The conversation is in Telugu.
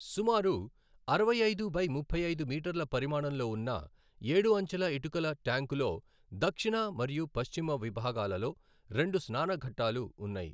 సుమారు అరవై ఐదు బై ముప్పై ఐదు మీటర్ల పరిమాణంలో ఉన్న ఏడు అంచెల ఇటుకల ట్యాంకులో దక్షిణ మరియు పశ్చిమ విభాగాలలో రెండు స్నాన ఘాట్టాలు ఉన్నాయి.